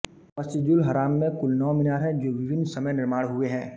मस्जिदुल हराम में कुल नौ मीनार हैं जो विभिन्न समय निर्माण हुए हैं